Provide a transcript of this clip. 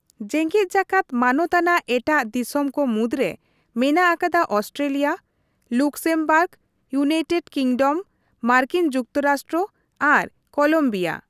ᱡᱮᱜᱮᱫ ᱡᱟᱠᱟᱛ ᱢᱟᱱᱚᱛ ᱟᱱᱟᱜ ᱮᱴᱟᱜ ᱫᱤᱥᱚᱢ ᱠᱚ ᱢᱩᱫᱽᱨᱮ ᱢᱮᱱᱟᱜ ᱟᱠᱟᱫᱟ ᱚᱥᱴᱨᱮᱞᱤᱭᱟ, ᱞᱩᱠᱥᱮᱢᱵᱟᱨᱜ, ᱭᱩᱱᱟᱤᱴᱮᱰ ᱠᱤᱸᱜᱰᱚᱢ, ᱢᱟᱨᱠᱤᱱ ᱡᱩᱠᱛᱚ ᱨᱟᱥᱴᱨᱚ ᱟᱨ ᱠᱚᱞᱚᱢᱵᱤᱭᱟ ᱾